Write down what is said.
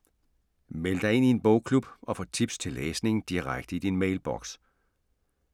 Meld dig ind i en bogklub og få tips til læsning direkte i din mailboks